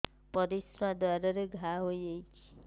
ପରିଶ୍ରା ଦ୍ୱାର ରେ ଘା ହେଇଯାଇଛି